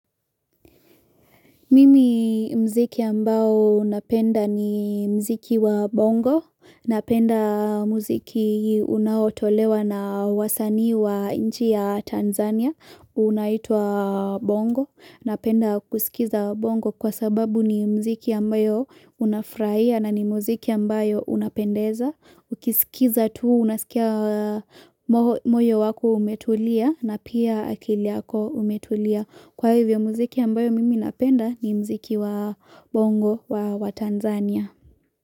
Mimi mziki ambao napenda ni mziki wa bongo, napenda mziki unaotolewa na wasanii wa nchi ya Tanzania unaitwa bongo napenda kusikiza bongo kwa sababu ni mziki ambayo unafurahia na ni mziki ambayo unapendeza, ukiskiza tu unaskia moyo wako umetulia na pia akili yako umetulia. Kwa hivyo muziki ambayo mimi napenda ni muziki wa bongo wa Tanzania.